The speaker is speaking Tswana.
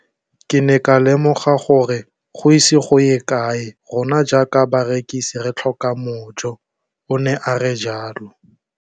Ke ne ka lemoga gore go ise go ye kae rona jaaka barekise re tla tlhoka mojo, o ne a re jalo.